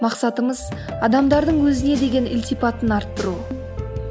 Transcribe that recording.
мақсатымыз адамдардың өзіне деген ілтипатын арттыру